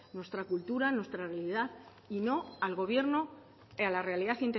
nuestra cultura nuestra realidad y no al gobierno a la realidad